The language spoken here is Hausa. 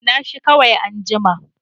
Kunna shi kawai anjima.